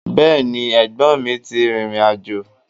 Bẹ́ẹ̀ni, ẹ̀gbọ́nmi ti rìrìn àjò.